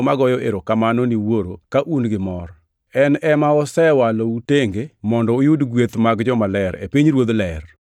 magoyo erokamano ni Wuoro ka un gi mor. En ema osewalou tenge mondo uyud gweth mag jomaler e pinyruodh ler.